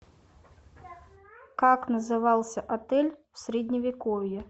как назывался отель в средневековье